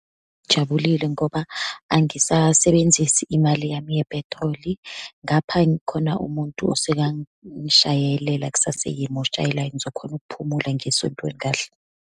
Ngijabulile ngoba angisasebenzisi imali yami yephethroli. Ngapha khona umuntu osekangishayelela, akusaseyimi oshayelayo. Ngizokhona ukuphumula, ngiye esontweni kahle.